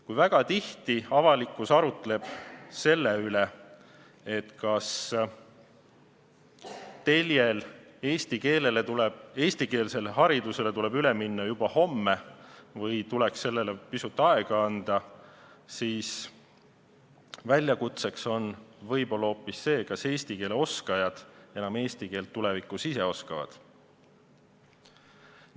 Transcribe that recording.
Kuigi avalikkus arutleb tihti selle üle, kas eestikeelsele haridusele tuleks üle minna juba homme või tuleks sellele pisut aega anda, on väljakutseks võib-olla hoopis see, kas eesti keele oskajad tulevikus enam eesti keelt üldse oskavad.